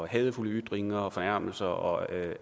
hadefulde ytringer fornærmelser og